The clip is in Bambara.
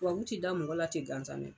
Tubabu tɛ da mɔgɔ la ten gansan dɛ.